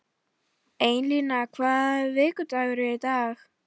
Einína, hvaða vikudagur er í dag?